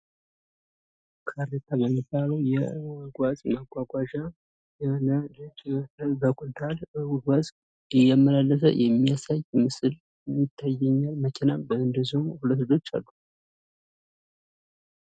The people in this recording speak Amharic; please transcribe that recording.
ካሬታ የሚባለው የጓዝ ማጓጓዣ፣ በኩንታል ጓዝ እያመላለሰ የሚያሳይ ምስል ይታየኛል። መኪናና ሁለት ልጆች አሉ።